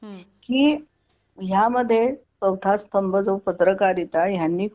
की यामध्ये चौथा स्तंभ जो पत्रकारिता यांनी खूप